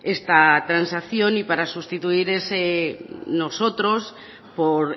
esta transacción y para sustituir ese nosotros por